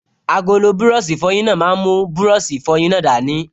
Agolo búrọ̀sì ìfọyín náà máa mú búrọ̀sì ìfọyín náà dání